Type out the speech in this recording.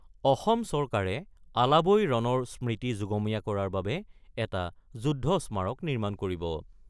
অসম চৰকাৰে আলাবৈ ৰণৰ স্মৃতি যুগমীয়া কৰাৰ বাবে এটা যুদ্ধ স্মাৰক নিৰ্মাণ কৰিব।